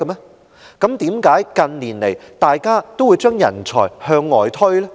但怎麼近年來，大家都把人才向外推？